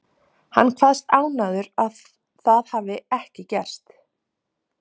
Hann kveðst ánægður að það hafi ekki gerst.